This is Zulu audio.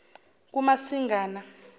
kumasingana